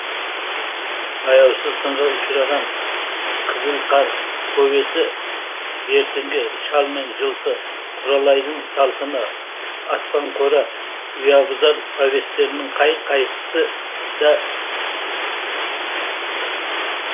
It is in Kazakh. аяусыз сынға ұшыраған қызыл қар повесі бертіңгі шал мен жылқы құралайдың салқыны аспанқора ұябұзар повестерінің қай қайсысы да